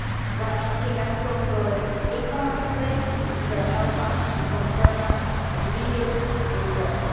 While making us stronger economically, it will help to confirm us as leaders in the world.